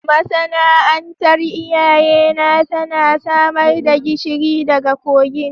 Masana'antar iyayena tana samar da gishiri daga kogin